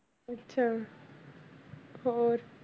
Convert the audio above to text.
ਅੱਛਾ ਹੋਰ